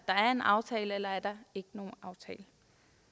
jo